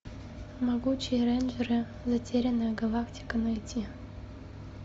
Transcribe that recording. могучие рейнджеры затерянная галактика найти